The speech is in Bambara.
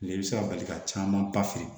Ni i bɛ se ka bali ka caman ba feere